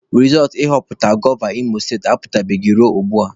Rizọọtụ nhọpụta gọva Imo state apụtabeghị ruo ugbua.